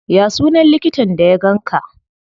Ya sunan likitan da ya ganka?